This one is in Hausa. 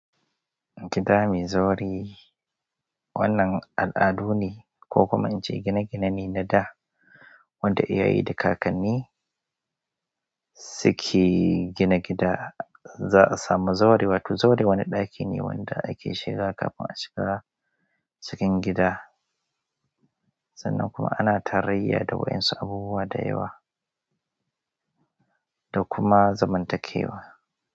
Gida mai zaure wannan al'adu ne ko kuma in ce gine-gine na da'a wanda iyaye da kakanni suke gina gida. Za a samu zawari, wato zaure wani ɗaki ne wanda ake shiga kafin a shiga cikin gida. Sannan kuma ana tarayya da wa'insu abubuwa da yawa da kuma zamantakewa.